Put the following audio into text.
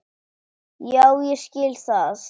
Já ég skil það.